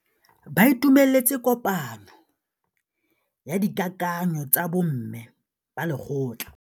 Ba itumeletse kôpanyo ya dikakanyô tsa bo mme ba lekgotla.